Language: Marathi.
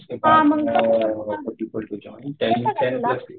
हां मग